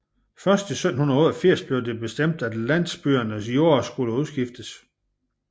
Først i 1788 blev det bestemt at landsbyernes jorder skulle udskiftes